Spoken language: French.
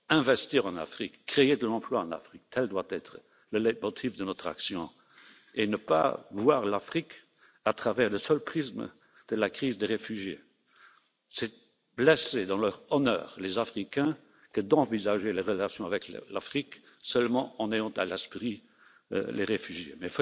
Investir en Afrique, créer de l'emploi en Afrique, tel doit être le leitmotiv de notre action, et il ne faut pas voir l'Afrique à travers le seul prisme de la crise de réfugiés. C'est blesser dans leur honneur les Africains que de n'envisager les relations avec l'Afrique qu'en ayant à l'esprit les réfugiés. Mais faisons sur place ce qu'il faut faire pour que les malheureux ne se jettent pas dans les